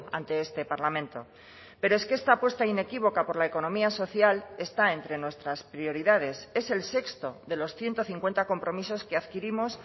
ante este parlamento pero es que esta apuesta inequívoca por la economía social está entre nuestras prioridades es el sexto de los ciento cincuenta compromisos que adquirimos